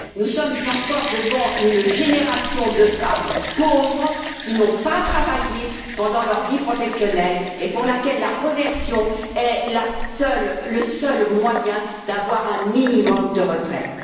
Nous sommes encore devant une génération de femmes pauvres qui n'ont pas travaillé pendant leur vie professionnelle et pour lesquelles la réversion est le seul moyen d'avoir un minimum de retraite.